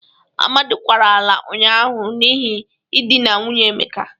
Amadị kwara ala ụnyaahụ n'ihe idịna nwunye Emeka.